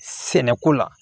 Sɛnɛko la